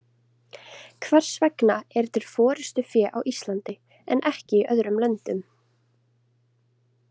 Hvers vegna er til forystufé á Íslandi en ekki í öðrum löndum?